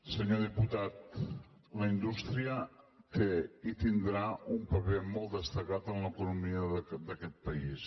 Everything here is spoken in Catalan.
senyor diputat la indústria té i tindrà un paper molt destacat en l’economia d’aquest país